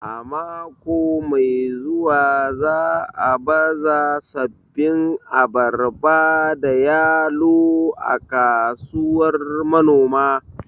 A mako mai zuwa za'a baza sabbin abarba da yalo a kasuwar manoma